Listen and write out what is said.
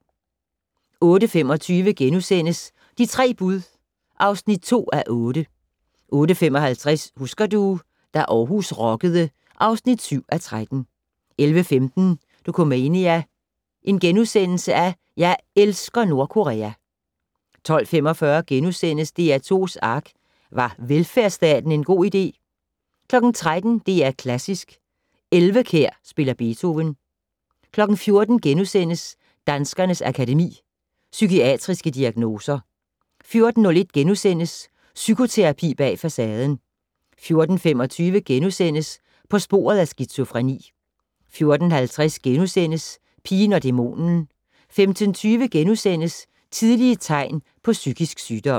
08:25: De tre bud (2:8)* 08:55: Husker du - da Aarhus rockede (7:13) 11:15: Dokumania: Jeg elsker Nordkorea! * 12:45: DR2's ARK - Var velfærdsstaten en god idé? * 13:00: DR Klassisk: Elvekjær spiller Beethoven 14:00: Danskernes Akademi: Psykiatriske diagnoser * 14:01: Psykoterapi bag facaden * 14:25: På sporet af skizofreni * 14:50: Pigen og dæmonen * 15:20: Tidlige tegn på psykisk sygdom *